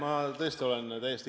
Aitäh!